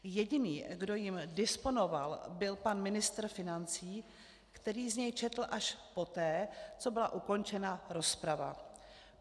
Jediný, kdo jím disponoval, byl pan ministr financí, který z něj četl až poté, co byla ukončena rozprava.